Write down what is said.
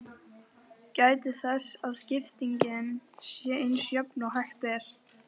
Gætið þess að skiptingin sé eins jöfn og hægt er.